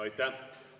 Aitäh!